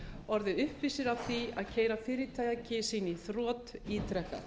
orðið uppvísir að því að keyra fyrirtæki sín í þrot ítrekað